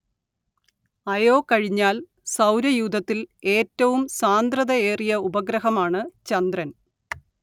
അയോ കഴിഞ്ഞാൽ സൗരയൂഥത്തിൽ ഏറ്റവും സാന്ദ്രതയേറിയ ഉപഗ്രഹമാണ്‌ ചന്ദ്രൻ